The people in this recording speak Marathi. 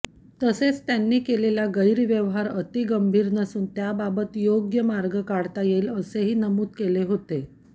तसेच त्यांनी केलेला गैरव्यवहार अतिगंभीर नसून त्याबाबत योग्य मार्ग काढता येईल असेही नमूद केले होते